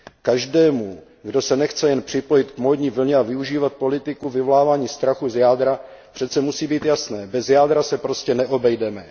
Každému, kdo se nechce jen připojit k módní vlně a využívat politiku vyvolávání strachu z jádra, přece musí být jasné bez jádra se prostě neobejdeme.